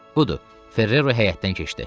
"Budur, Ferrero həyətdən keçdi."